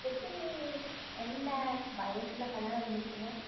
எத்தினி என்ன வயசுல கல்யாணம் பண்ணிப்பிங்க